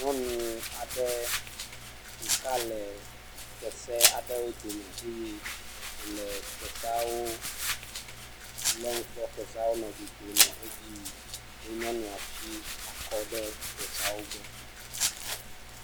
Nyɔnu aɖe ɖeka le kese aɖewo dome eye wole keseawo lém kpɔ keseawo nɔ dzodzom nɔ edzi yim ye nyɔnua tsi akɔ ɖe keseawo gbɔ.